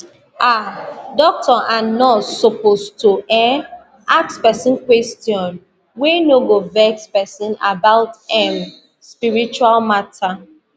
ah doctor and nurse suppose toeh ask pesin question wey no go vex pesin about em spiritual matter